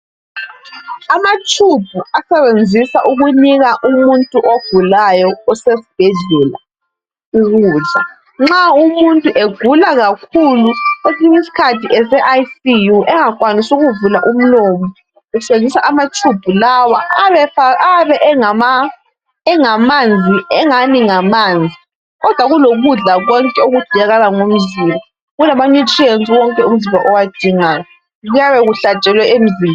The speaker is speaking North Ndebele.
Amatshubhu asebenzisa ukunika umuntu ogulayo, osesibhedla, ukudla. Nxa umuntu egula kakhulu, kwesinye isikhathi eseICU, engakwanisi ukuvula umlomo. Kusetshenziswa amatshubhu lawa. Ayabe efa, ayabe engama, engamanzi, enganii ngamanzi, kodwa kulokudla konke, okudingakala ngomzimba, kulama nutrients wonke, umzimba owadingayo. Kuyabe kuhlatshelwe emzimbe